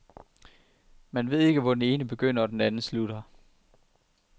Man ved ikke hvor den ene begynder, og den anden slutter.